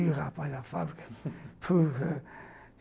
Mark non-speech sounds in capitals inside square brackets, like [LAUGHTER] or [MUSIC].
Ih, rapaz, da fábrica [LAUGHS]